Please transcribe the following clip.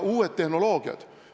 Uued tehnoloogiad.